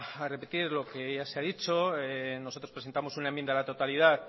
a repetir lo que ya se ha dicho nosotros presentamos una enmienda de la totalidad